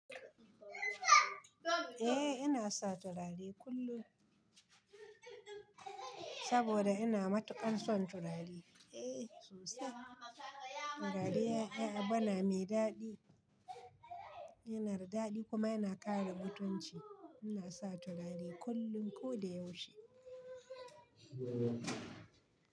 Eh ina sa turare kullum saboda ina matuƙan son turare. Eh sosai, turare yana bana mai daɗi, yana da daɗi kuma yana kare mutunci. Ina sa turare kullum ko da yaushe.